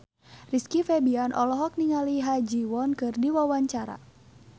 Rizky Febian olohok ningali Ha Ji Won keur diwawancara